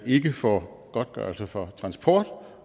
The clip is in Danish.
ikke får godtgørelse for transport